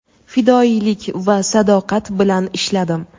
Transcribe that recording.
fidoyilik va sadoqat bilan ishladim.